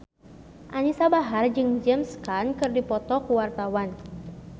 Anisa Bahar jeung James Caan keur dipoto ku wartawan